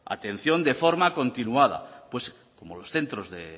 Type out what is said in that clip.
atención de forma continuada pues como los centros de